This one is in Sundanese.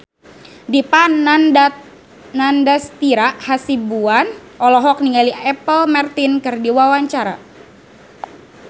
Dipa Nandastyra Hasibuan olohok ningali Apple Martin keur diwawancara